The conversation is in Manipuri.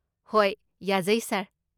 ꯍꯣꯏ, ꯌꯥꯖꯩ, ꯁꯥꯔ꯫